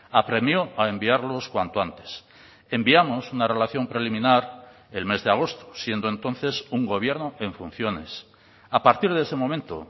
apremió a enviarlos cuanto antes enviamos una relación preliminar el mes de agosto siendo entonces un gobierno en funciones a partir de ese momento